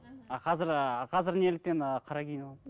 а қазір ы қазір неліктен ы қара киініп